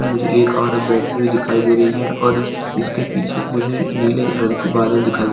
मुझे एक औरत बैठी दिखाई दे रही है और इस -इसके पीछे मुझे नीले रंग के बादल दिखाई--